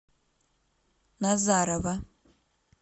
назарово